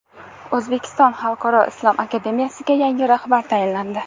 O‘zbekiston xalqaro islom akademiyasiga yangi rahbar tayinlandi.